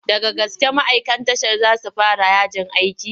Daga gaske ma'aikan tashar za su fara yajin aiki?